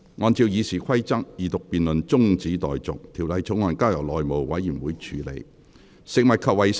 按照《議事規則》，二讀辯論中止待續，條例草案交由內務委員會處理。